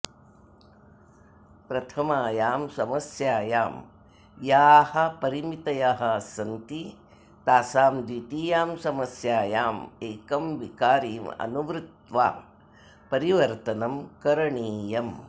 प्रथामायां समस्यायां याः परिमितयः सन्ति तासां द्वितीयां समस्यायां एकं विकारिं अनुवृत्त्वा परिवर्तनं करणीयम्